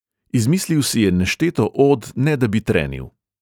Izmislil si je nešteto od, ne da bi trenil.